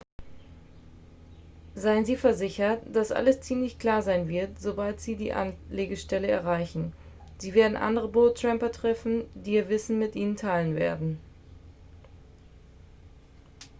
seien sie versichert dass alles ziemlich klar sein wird sobald sie die anlegestellen erreichen sie werden andere boot-tramper treffen die ihr wissen mit ihnen teilen werden